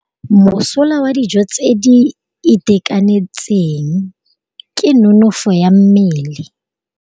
Mosola wa dijô tse di itekanetseng ke nonôfô ya mmele.